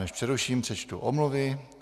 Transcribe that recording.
Než přeruším, přečtu omluvy.